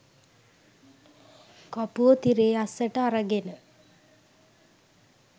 කපුවො තිරේ අස්සට අරගෙන